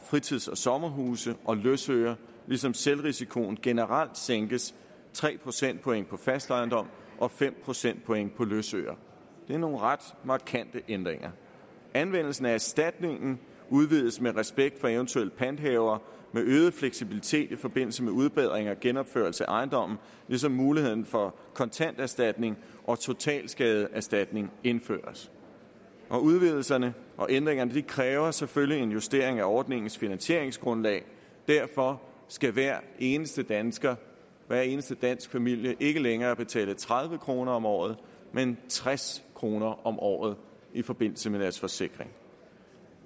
fritids og sommerhuse og løsøre ligesom selvrisikoen generelt sænkes tre procentpoint på fast ejendom og fem procentpoint på løsøre det er nogle ret markante ændringer anvendelsen af erstatningen udvides med respekt for eventuelle panthavere med øget fleksibilitet i forbindelse med udbedring og genopførelse af ejendomme ligesom muligheden for kontant erstatning og totalskadeerstatning indføres udvidelserne og ændringerne kræver selvfølgelig en justering af ordningens finansieringsgrundlag derfor skal hver eneste dansker hver eneste dansk familie ikke længere betale tredive kroner om året men tres kroner om året i forbindelse med deres forsikring